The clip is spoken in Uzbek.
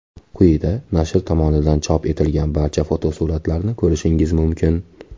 Quyida nashr tomonidan chop etilgan barcha fotosuratlarni ko‘rishingiz mumkin.